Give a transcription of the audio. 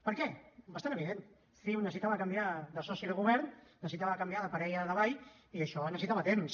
per què bastant evident ciu necessitava canviar de soci de govern necessitava canviar de parella de ball i això necessitava temps